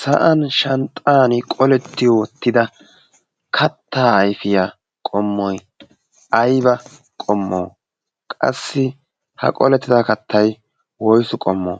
sa7an shanxxan qoletti uttida kattaa aifiyaa qommoi aiba qommo? qassi ha qolettida kattai woisu qommo?